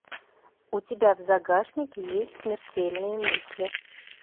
у тебя в загашнике есть смертельные мысли